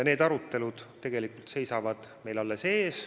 Need arutelud tegelikult seisavad alles ees.